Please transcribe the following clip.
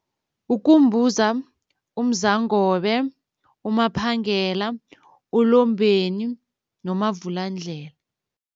UKumbuza, uMzangobe, uMaphangela, uLombeni noMavulandlela.